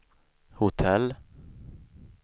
hotell